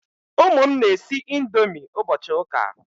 Ụmụ m na-esi ndomi ụbọchi ụka